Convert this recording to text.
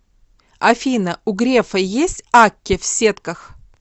афина у грефа есть акки в сетках